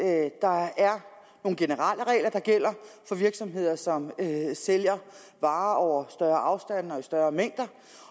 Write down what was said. at der er nogle generelle regler der gælder for virksomheder som sælger varer over større afstande og i større mængder